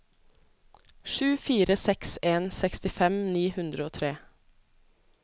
sju fire seks en sekstifem ni hundre og tre